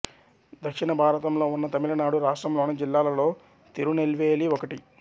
దక్షిణ భారతంలో ఉన్న తమిళనాడు రాష్ట్రంలోని జిల్లాలలో తిరునెల్వేలి ఒకటి